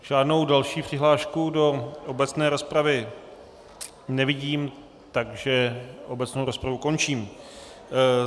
Žádnou další přihlášku do obecné rozpravy nevidím, takže obecnou rozpravu končím.